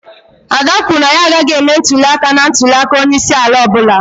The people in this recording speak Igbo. Ada kwuru na ya agaghị eme ntuli aka na ntuli aka onye isi ala ọ bụla.